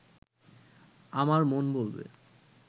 আমার মন বলবে